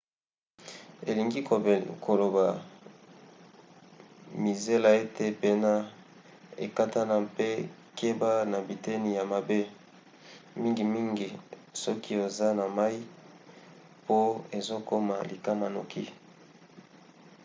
elingi koloba mizela ete pema ekatana mpe keba na biteni ya mabe mingimingi soki oza na mai po ezokoma likama noki